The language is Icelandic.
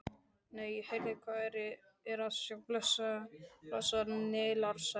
Nei, heyrðu, hvað er að sjá blessað Nílarsefið!